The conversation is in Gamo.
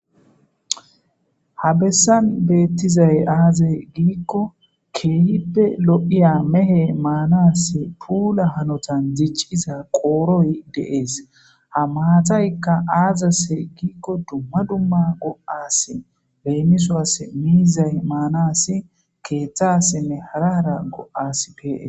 Ha bessan beettizay aazay giikko keeyippe lo'iya mehe maanas puula hanotan dicciza qooroy deees ha maataykka aazase giikko dumma dumma go'as beenisoas miizay maanasi keeththassinne hara hara go'as pee